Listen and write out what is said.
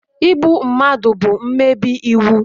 Igbu mmadụ bụ mmebi iwu